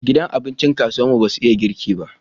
Gidan abincin kasuwar mu basu iya girki ba